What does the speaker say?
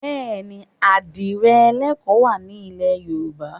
Bẹ́ẹ̀ ni, àdìrẹ ẹlẹ́kọ wà ní ilẹ̀ Yorùbá.